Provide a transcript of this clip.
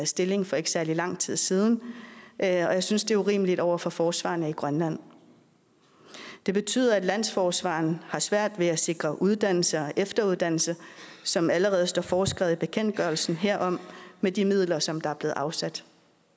stilling for ikke særlig lang tid siden og jeg synes det er urimeligt over for forsvarerne i grønland det betyder at landsforsvareren har svært ved at sikre uddannelse og efteruddannelse som allerede står foreskrevet i bekendtgørelsen herom med de midler som er blevet afsat